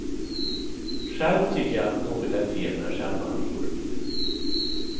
Själv tycker jag att någonting är fel med själva nyordningen.